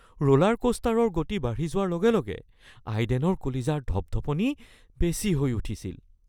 roller কোষ্টাৰৰ গতি বাঢ়ি যোৱাৰ লগে লগে আইডেনৰ কলিজাৰ ধপধপনি বেছি হৈ উঠিছিল